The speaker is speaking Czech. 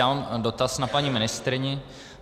Já mám dotaz na paní ministryni.